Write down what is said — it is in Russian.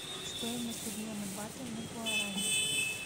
стоимость обмена баты на гуарани